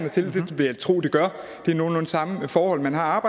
vil jeg tro det gør det er nogenlunde samme forhold man har